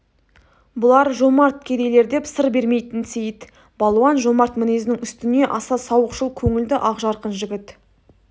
бұлар жомарт кедейлер деп сыр бермейтін сейіт балуан жомарт мінезінің үстіне аса сауықшыл көңілді ақжарқын жігіт